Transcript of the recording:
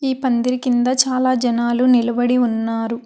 ఈ పందిరి కింద చాలా జనాలు నిలబడి ఉన్నారు.